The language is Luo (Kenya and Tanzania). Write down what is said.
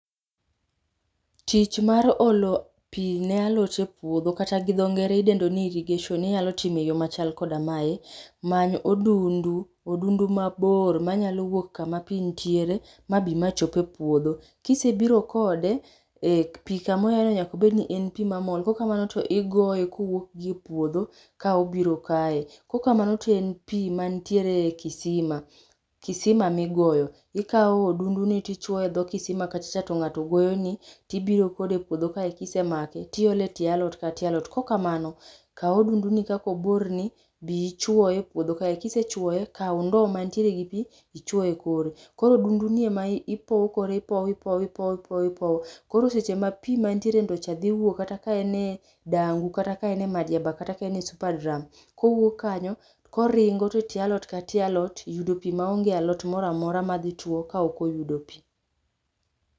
Tich ma olo pii ne alot e puodho kata gi dho ngere idendo ni irrigation inyalo timo e yoo machal koda mae, many odundu, odundu mabor manyalo wuok kama pii nitiere mabi machop e puodho, kisebiro kode ,eeh, pii kama oaye nyaka obed ni en pii mamol kaok kamano to igoye kowuok gi e puodho ka obiro kae .Kok kamano to en pii mantiere kisima, kisima ma igoyo. Ikao odundu ni tichuoye dho kisima kachacha to ngato goyoni tibiro kode e puodho kae kisemake tiiole tie alot ka tie alot, kaok kamano kaw odundu ni kaka obor ni ,bii ichuoye epuodho kae, kisechuoye kao ndo mantiere gi pii ichuo e kore koro odunduni ema ipokore, ipoyo ipoyo ipoyo ipoyo, koro seche pii ma pii manie ndoo cha dhi wuok kata kae e dangu, kata ka en e madiaba kata kae e super drum kowuok kanyo toringo e tie alot ka tie alot yudo pii maonge alot moro amora madhi tuo kaok oyudo pii